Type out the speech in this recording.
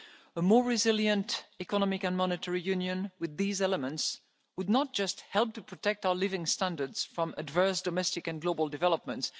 shocks. A more resilient Economic and Monetary Union with these elements would not just help to protect our living standards from adverse domestic and global developments.